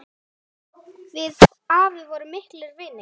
Við afi vorum miklir vinir.